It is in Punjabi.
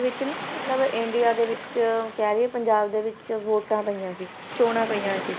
ਵਿੱਚ ਨਾ ਮਤਲਬ ਇੰਡੀਆ ਦੇ ਵਿੱਚ ਕਹਿ ਲਈਏ ਪੰਜਾਬ ਦੇ ਵਿੱਚ ਵੋਟਾਂ ਪਈਆਂ ਸੀ ਚੌਣਾਂ ਪਈਆਂ ਸੀ